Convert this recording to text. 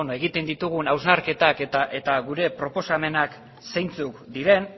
egiten ditugun hausnarketak eta gure proposamenak zeintzuk diren